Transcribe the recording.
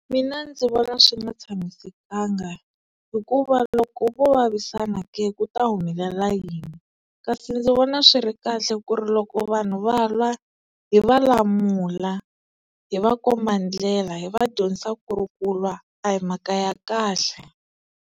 Mina ndzi vona swi nga tshamisekanga hikuva loko vo vavisana ke, ku ta humelela yini kasi ndzi vona swi ri kahle ku ri loko vanhu va lwa hi va lamula hi va komba ndlela hi va dyondzisa ku ri kulwa a hi mhaka ya kahle.